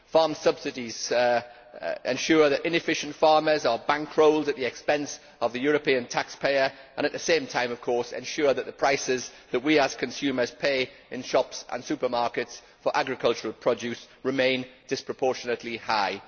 Farm subsidies ensure that inefficient farmers are bankrolled at the expense of the European taxpayer and, at the same time, of course, ensure that the prices that we as consumers pay in shops and supermarkets for agricultural produce remain disproportionately high.